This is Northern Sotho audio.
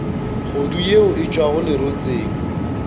kgodu yeo e tšwago lerotseng